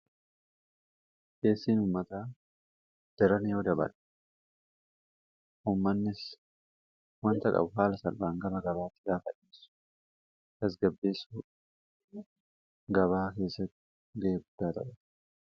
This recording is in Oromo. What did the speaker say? Keessiin uumataa jaran yoo dabaadha ummannis wanta qabhaala salbaan gaba gabaattidhaa fa'iisu asgabbeessu gabaa keessai geebdaataba.